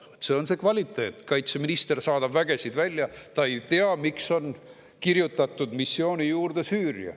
Selline on see kvaliteet: kaitseminister saadab vägesid välja, aga ta ei tea, miks on kirjutatud missiooni juurde "Süüria".